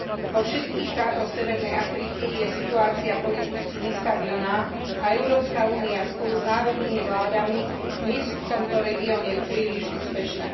Vo všetkých štátoch severnej Afriky je situácia politicky nestabilná a Európska únia spolu s národnými vládami nie sú v tomto regióne príliš úspešné.